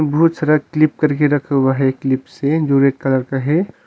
बहुत सारा क्लिप करके रखा हुआ है क्लिप से जो रेड कलर का है।